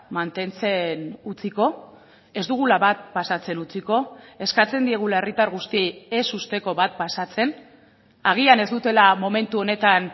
mantentzen utziko ez dugula bat pasatzen utziko eskatzen diegula herritar guztiei ez uzteko bat pasatzen agian ez dutela momentu honetan